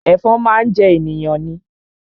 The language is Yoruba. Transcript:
Ẹ̀fọn máa ń jẹ ènìyàn ni